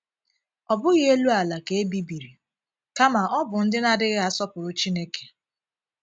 Ọ bụ́ghị elu ala ka e bibiri, kàmá ọ̀ bụ ndị na - adịghị asọpụrụ Chineke.